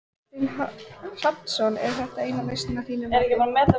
Kristinn Hrafnsson: Er þetta eina lausnin að þínu mati?